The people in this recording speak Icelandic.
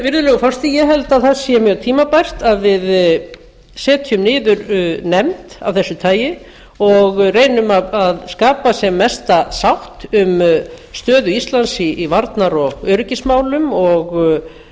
virðulegur forseti ég held að það sé mjög tímabært að við setjum niður nefnd af þessu tagi og reynum að skapa sem mesta sátt um stöðu íslands í varnar og öryggismál og